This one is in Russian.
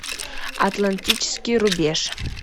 атлантический рубеж